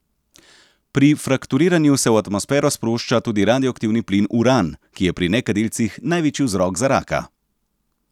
Pri frakturiranju se v atmosfero sprošča tudi radioaktivni plin uran, ki je pri nekadilcih največji vzrok za raka.